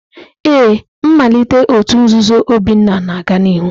Ee, mmalite òtù nzuzo Obinna na-aga n'ihu.